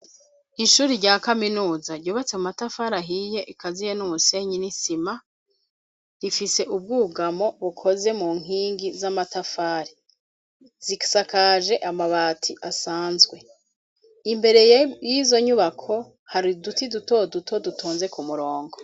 Ishure rya kaminuza ryubatse mu matafari ahiye ikaziye umusenyi n'isima, ifise ubwugamo bukoze mu nkingi z'amatafari, zisakaje amabati asanzwe, imbere y'izo nyubako hari uduti dutoduto dutonze ku murongo.